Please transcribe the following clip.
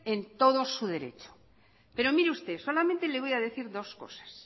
en todo su derecho pero mire usted solamente le voy a decir dos cosas